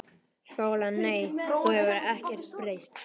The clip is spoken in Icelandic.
SÓLA: Nei, þú hefur ekkert breyst.